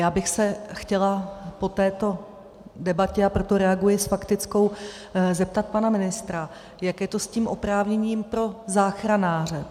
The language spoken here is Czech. Já bych se chtěla po této debatě - a proto reaguji s faktickou - zeptat pane ministra, jak je to s tím oprávněním pro záchranáře.